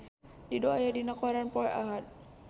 Dido aya dina koran poe Ahad